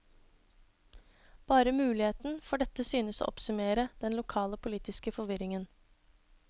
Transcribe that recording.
Bare muligheten for dette synes å oppsummere den lokale politiske forvirringen.